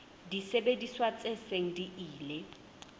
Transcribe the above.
disebediswa tse seng di ile